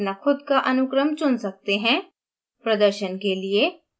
आप acids का अपना खुद का अनुक्रम चुन सकते हैं